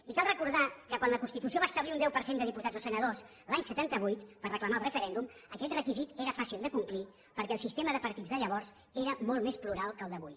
i cal recordar que quan la constitució va establir un deu per cent de diputats o senadors l’any setanta vuit per reclamar el referèndum aquest requisit era fàcil de complir perquè el sistema de partits de llavors era molt més plural que el de avui